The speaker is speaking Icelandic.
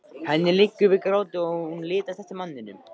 Henni liggur við gráti og hún litast um eftir manninum.